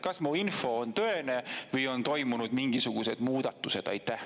Kas mu info on tõene või on toimunud mingisugused muudatused?